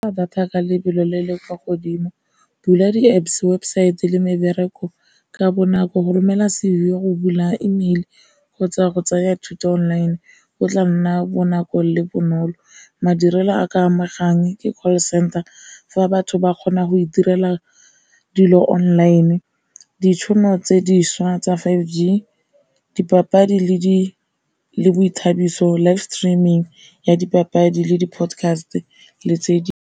Data ka lebelo le le kwa godimo, bula di-Apps webosaete le mebereko ka bonako, go romela sengwe go bula emeile kgotsa go tsaya thuto online go tla nna bonako le bonolo, madirelo a ka amegang ke call center fa batho ba kgona go e direla dilo online, ditšhono tse dišwa tsa five G, dipapadi le boithabiso life streaming ya dipapadi le di podcast le tse di.